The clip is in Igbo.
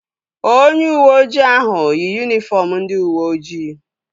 Onye uweoji ahụ yi yunifọm ndị uweojii